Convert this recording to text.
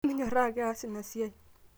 minyoraa ake aas ina siai